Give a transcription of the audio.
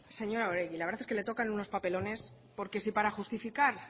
señora oregi la verdad es que le tocan unos papelones porque si para justificar